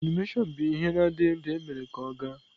Anụmanụ bụ ihe na-adịghị ndụ emere ka ọ gaa.